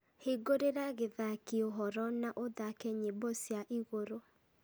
hingũrira gĩthaaki ũhoro na ũthaake nyĩmbo cia igũrũ